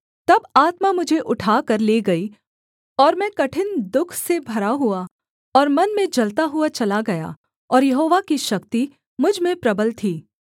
तब आत्मा मुझे उठाकर ले गई और मैं कठिन दुःख से भरा हुआ और मन में जलता हुआ चला गया और यहोवा की शक्ति मुझ में प्रबल थी